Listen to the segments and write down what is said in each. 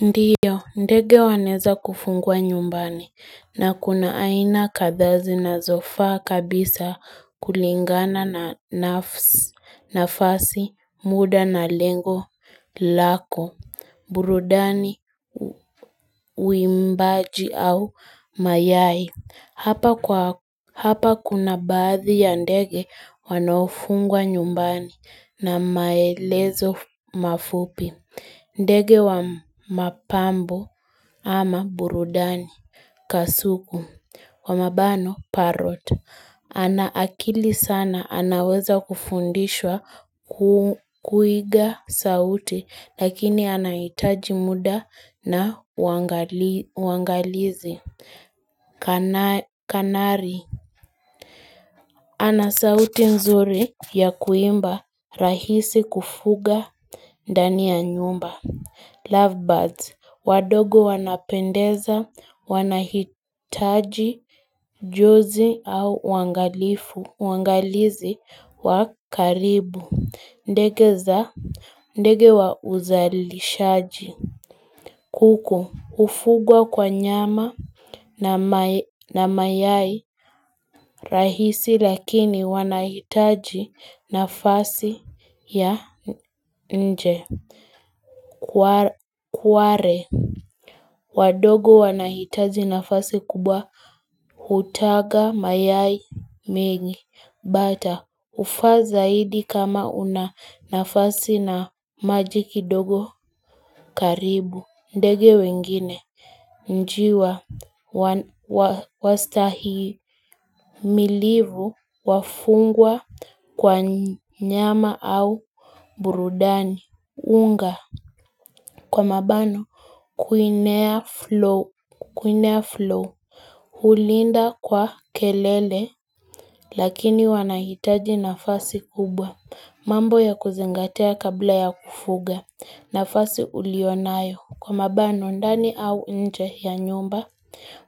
Ndiyo, ndege waneza kufungwa nyumbani na kuna aina kadha zinazofa kabisa kulingana na nafasi muda na lengo lako, burudani, uimbaji au mayai. Hapa kuna baadhi ya ndege wanofugwa nyumbani na maelezo mafupi. Ndege wa mapambo ama burudani kasuku wa mabano parot. Ana akili sana anaweza kufundishwa kuiga sauti lakini anaitaji muda na uangalizi. Kanari ana sauti nzuri ya kuimba rahisi kufuga ndani ya nyumba Lovebirds wadogo wanapendeza wanahitaji jozi au uangalifu uangalizi wakaribu ndege za ndege wa uzalishaji kuku Ufugwa kwa nyama na mayai rahisi lakini wanahitaji nafasi ya nje Kuare wadogo wanahitaji nafasi kubwa hutaga mayai mingi Bata hufaa zaidi kama una nafasi na maji kidogo karibu ndege wengine Njiwa Wastahimilivu Wafungwa Kwa nyama au burudani unga Kwa mabano kuinea flow hulinda kwa kelele Lakini wanahitaji nafasi kubwa mambo ya kuzingatea kabla ya kufuga nafasi ulionayo Kwa mabano ndani au nje ya nyumba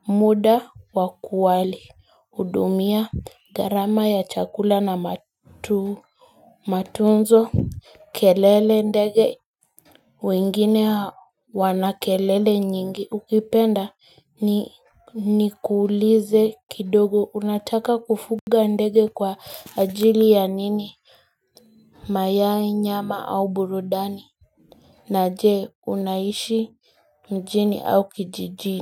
muda wakuwali Udumia garama ya chakula na matu Matunzo kelele ndege wengine wana kelele nyingi ukipenda ni kuulize kidogo unataka kufuga ndege kwa ajili ya nini mayai nyama au burudani na jeme unaishi mjini au kijijini.